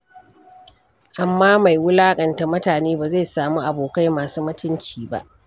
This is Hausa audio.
Amma mai wulaƙanta mutane ba zai samu abokai masu mutunci ba.